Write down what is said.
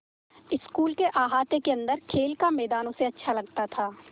school के अहाते के अन्दर खेल का मैदान उसे अच्छा लगता था